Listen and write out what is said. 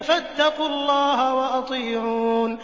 فَاتَّقُوا اللَّهَ وَأَطِيعُونِ